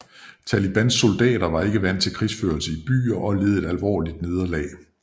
Talibans soldater var ikke vant til krigførelse i byer og led et alvorligt nederlag